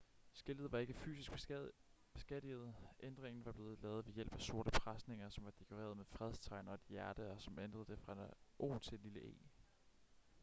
skiltet var ikke fysisk beskadiget ændringen var blevet lavet ved hjælp af sorte presenninger som var dekoreret med fredstegn og et hjerte og som ændrede et o til et lille e